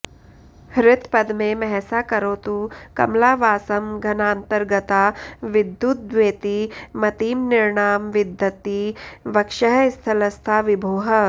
हृत्पद्मे महसा करोतु कमला वासं घनान्तर्गता विद्युद्वेति मतिं नृणां विदधती वक्षःस्थलस्था विभोः